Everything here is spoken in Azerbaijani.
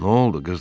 Nə oldu?